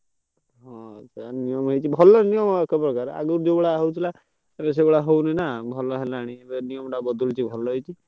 ହୁଁ ତ ଭଲ ଏବେ ସେଗୁଡା ହଉନି ନାଁ ଭଲ ହେଲା ହେଲାଣି ଯୋଉ ନିୟମ ଗୁଡାକ ବଦଳୁଛି ଭଲ ହେଇଛି।